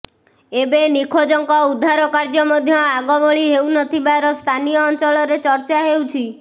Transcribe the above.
ଏବେ ନିଖୋଜଙ୍କ ଉଦ୍ଧାର କାର୍ଯ୍ୟ ମଧ୍ୟ ଆଗ ଭଳି ହେଉ ନଥିବାର ସ୍ଥାନୀୟ ଅଂଚଳରେ ଚର୍ଚ୍ଚା ହେଉଛି